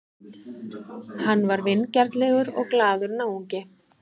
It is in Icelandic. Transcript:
Hann var vingjarnlegur og glaðlegur náungi.